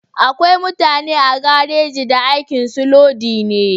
Akwai mutane a garaji da aikin su lodi ne